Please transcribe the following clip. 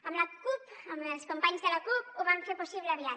amb la cup amb els companys de la cup ho vam fer possible aviat